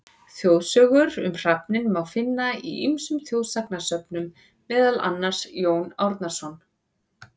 Þjóðsögur um hrafninn má finna í ýmsum þjóðsagnasöfnum, meðal annars: Jón Árnason.